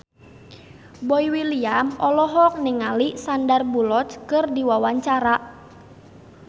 Boy William olohok ningali Sandar Bullock keur diwawancara